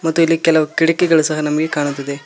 ಮತ್ತು ಇಲ್ಲಿ ಕೆಲವು ಕಿಡಕಿಗಳು ಸಹ ನಮಗೆ ಕಾಣುತ್ತಿವೆ.